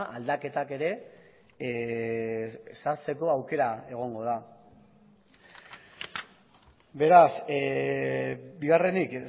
aldaketak ere sartzeko aukera egongo da beraz bigarrenik